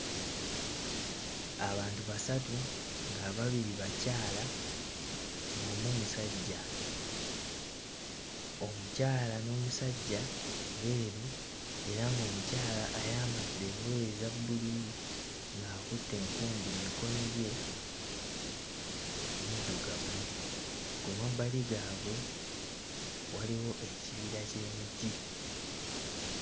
Abantu basatu ng'ababiri bakyala ng'omu musajja, omukyala n'omusajja beeru era ng'omukyala ayambadde engoye eza bbululu ng'akutte enkumbi mmikono gye muddugavu. Ku mabbali gaabwe waliwo ekibira ky'emiti.